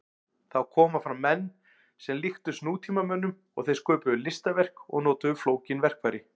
Þá komu fram menn sem líktust nútímamönnum og þeir sköpuðu listaverk og notuðu flókin verkfæri.